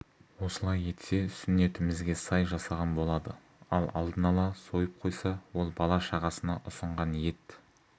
осылай етсе сүннетімізге сай жасаған болады ал алдын ала сойып қойса ол бала-шағасына ұсынған ет